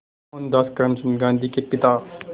मोहनदास करमचंद गांधी के पिता